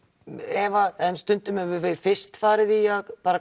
en stundum höfum við fyrst farið í að